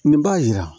Nin b'a yira